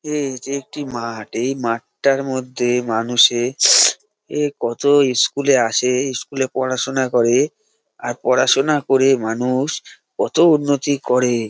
এ এটি একটি মাঠ এই মাঠটার মধ্যে মানুষে এ কত ইস্কুল -এ আসে ইস্কুল -এ পড়াশোনা করে আর পড়াশোনা করে মানুষ কত উন্নতি করে-এ।